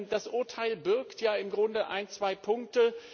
Das Urteil birgt ja im Grunde ein, zwei Punkte.